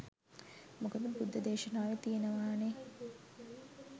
මොකද බුද්ධ දේශනාවේ තියෙනවානේ